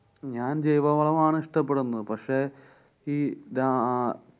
ഞാന്‍ ജൈവവളമാണ് ഇഷ്ട്ടപ്പെടുന്നത്. പക്ഷെ ഈ രാ~